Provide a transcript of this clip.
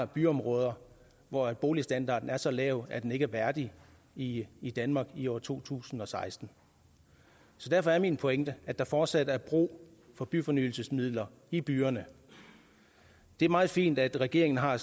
byområder hvor boligstandarden er så lav at den ikke er værdig i i danmark i år to tusind og seksten så derfor er min pointe at der fortsat er brug for byfornyelsesmidler i byerne det er meget fint at regeringen har